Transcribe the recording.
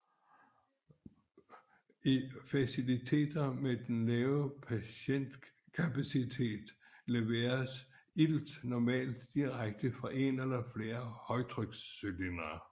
I faciliteter med en lav patientkapacitet leveres ilt normalt direkte fra en eller flere højtrykscylindre